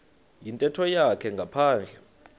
yintetho yakhe ngaphandle